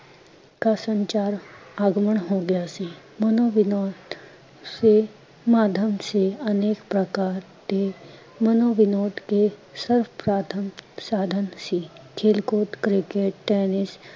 ਕਾ ਸੰਚਾਰ ਆਗਮਨ ਹੋ ਗਿਆ ਸੀ, ਮਨੋਵਿਨੋਦ ਸੇ, ਮਾਧਵ ਜੀ ਅਨੇਕ ਪ੍ਰਕਾਰ ਦੇ, ਮਨੋਵਿਨੋਦ ਕੇ ਸਰਪ੍ਰਾਥਮ ਸਾਧਨ ਸੀ, ਖੇਲ ਕੂਦ cricket tennis